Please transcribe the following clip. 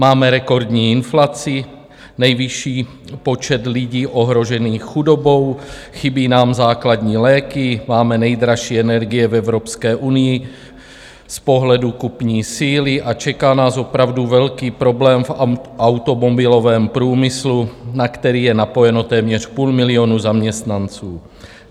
Máme rekordní inflaci, nejvyšší počet lidí ohrožených chudobou, chybí nám základní léky, máme nejdražší energie v Evropské unii z pohledu kupní síly a čeká nás opravdu velký problém v automobilovém průmyslu, na který je napojeno téměř půl milionu zaměstnanců.